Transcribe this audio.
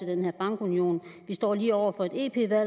den her bankunion vi står lige over for et